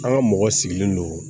An ka mɔgɔ sigilen don